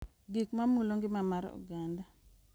Gik ma mulo ngima mar oganda